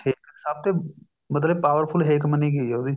ਹੇਕ ਸਭ ਤੇ ਮਤਲਬ powerful ਹੇਕ ਮੰਨੀ ਗਈ ਹੈ ਉਹਦੀ